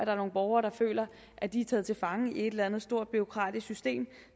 er nogle borgere der føler at de er taget til fange i et eller andet stort bureaukratisk system